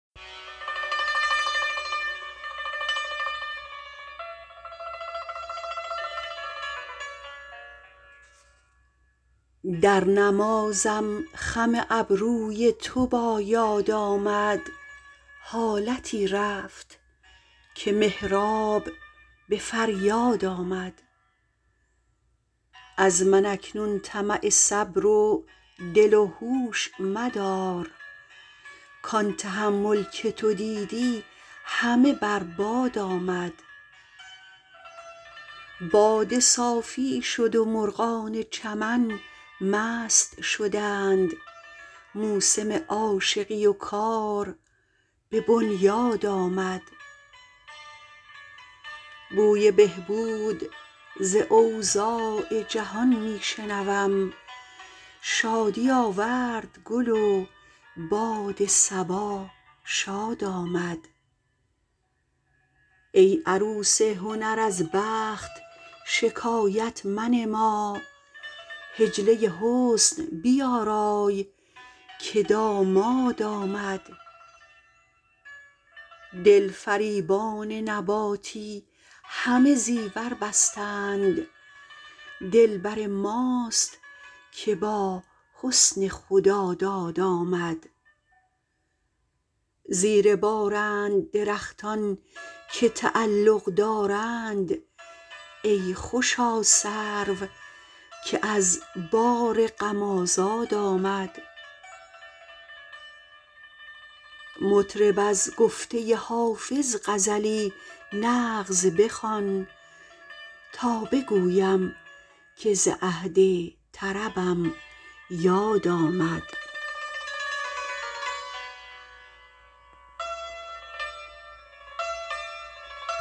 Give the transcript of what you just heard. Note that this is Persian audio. در نمازم خم ابروی تو با یاد آمد حالتی رفت که محراب به فریاد آمد از من اکنون طمع صبر و دل و هوش مدار کان تحمل که تو دیدی همه بر باد آمد باده صافی شد و مرغان چمن مست شدند موسم عاشقی و کار به بنیاد آمد بوی بهبود ز اوضاع جهان می شنوم شادی آورد گل و باد صبا شاد آمد ای عروس هنر از بخت شکایت منما حجله حسن بیارای که داماد آمد دلفریبان نباتی همه زیور بستند دلبر ماست که با حسن خداداد آمد زیر بارند درختان که تعلق دارند ای خوشا سرو که از بار غم آزاد آمد مطرب از گفته حافظ غزلی نغز بخوان تا بگویم که ز عهد طربم یاد آمد